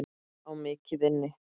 Á mikið inni.